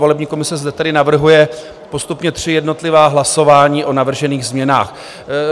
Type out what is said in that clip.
Volební komise zde tedy navrhuje postupně tři jednotlivá hlasování o navržených změnách.